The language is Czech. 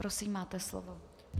Prosím, máte slovo.